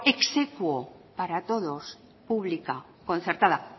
ex aequo para todos pública concertada